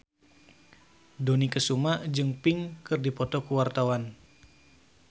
Dony Kesuma jeung Pink keur dipoto ku wartawan